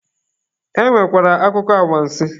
E nwekwara akụkọ awansị.